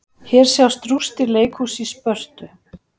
Hér sjást rústir leikhúss í Spörtu.